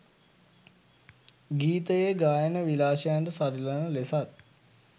ගීතයේ ගායන විලාශයන්ට සරිලන ලෙසත්